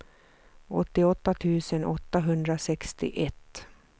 åttioåtta tusen åttahundrasextioett